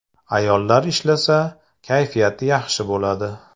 Ayollar ishlasa, kayfiyati yaxshi bo‘ladi.